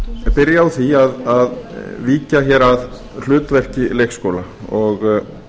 byrja á því að víkja hér að hlutverki leikskóla og